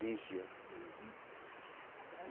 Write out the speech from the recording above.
Lígia.